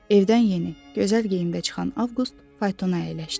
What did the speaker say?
Evdən yeni, gözəl geyimdə çıxan Avqust faytona əyləşdi.